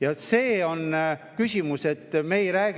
Palun, kolm lisaminutit!